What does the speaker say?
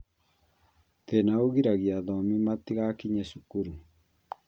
Thina ũgiragia athomi matigakinye cukuru